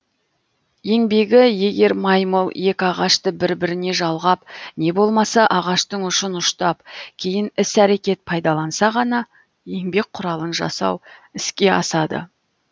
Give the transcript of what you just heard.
еңбегі егер маймыл екі ағашты бір біріне жалғап не болмаса ағаштың ұшын ұштап кейін іс әрекет пайдаланса ғана еңбек құралын жасау іске асады